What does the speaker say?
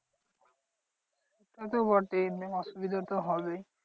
তা তো বটেই main অসুবিধা তো হবেই।